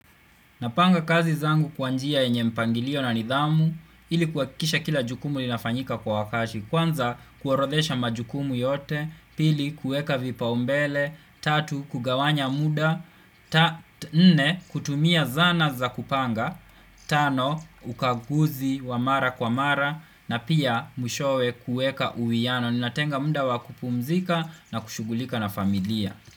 Napanga kazi zangu kwa njia yenye mpangilio na nidhamu ili kuhakikisha kila jukumu linafanyika kwa wakati Kwanza kuorodhesha majukumu yote, pili kueka vipaumbele, tatu kugawanya muda, nne kutumia zana za kupanga Tano ukaguzi wa mara kwa mara na pia mwishowe kueka uwiano. Ninatenga muda wa kupumzika na kushughulika na familia.